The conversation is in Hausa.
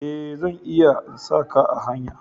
Eh, zan iya in sa ka a hanya.